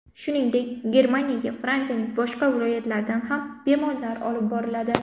Shuningdek, Germaniyaga Fransiyaning boshqa viloyatlaridan ham bemorlar olib boriladi.